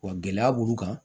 Wa gɛlɛya b'u kan